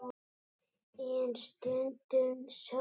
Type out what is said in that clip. En stundum sól.